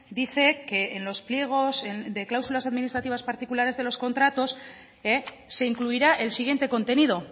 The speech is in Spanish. dice que en los pliegos de clausulas administrativas particulares de los contratos se incluirá el siguiente contenido